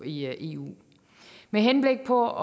i eu med henblik på